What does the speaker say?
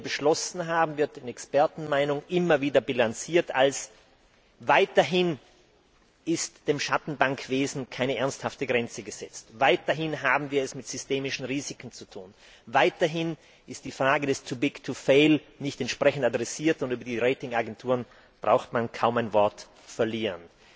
Alles, was wir hier beschlossen haben, wird in Expertenmeinungen immer wieder bilanziert als weiterhin ist dem Schattenbankwesen keine ernsthafte Grenze gesetzt, weiterhin haben wir es mit systemischen Risiken zu tun, weiterhin ist die Frage des too big to fail nicht entsprechend adressiert, und über die Ratingagenturen braucht man kaum ein Wort zu verlieren.